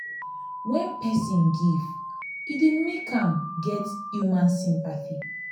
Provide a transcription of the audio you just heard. when perosn give e dey make am get human sympathy